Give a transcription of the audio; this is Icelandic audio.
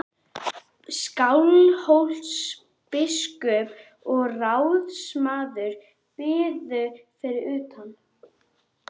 Skálholtsbiskup og ráðsmaður biðu fyrir utan.